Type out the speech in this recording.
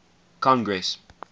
congress